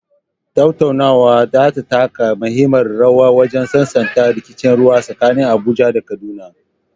Tattaunawar za ta taka muhimmiyar rawa wajen sasanta rikicin ruwa tsakanin Abuja da Kaduna.